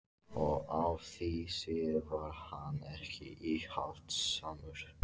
Og á því sviði var hann ekki íhaldssamur.